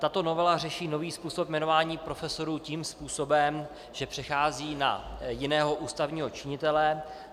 Tato novela řeší nový způsob jmenování profesorů tím způsobem, že přechází na jiného ústavního činitele.